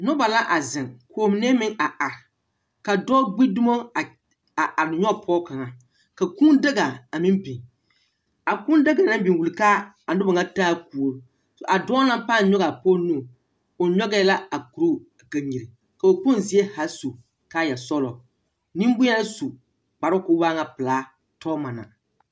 Noba la zeŋ kɔɔ mine meŋ are are. Ka dɔɔ gbi dumo a nyɔge pɔge kaŋa ka kūū daga a meŋ biŋ. A kūū daga naŋ biŋ wuli ka a noba ŋa taa Kuori. A dɔɔ ŋa pãã nyɔge a pɔge nu. O nyɔgɛɛ la a koroo kanyiri. Kɔɔ kpoŋ zie haa su kaayɛ sɔglɔ. Nembuyeŋ su kparoo koo waa ŋa pelaa tɔɔma na.